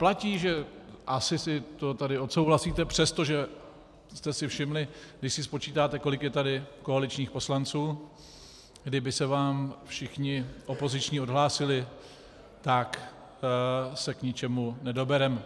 Platí, že - asi si to tady odsouhlasíte, přestože jste si všimli, když si spočítáte, kolik je tady koaličních poslanců, kdyby se vám všichni opoziční odhlásili, tak se k ničemu nedobereme.